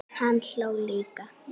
Hann hló líka.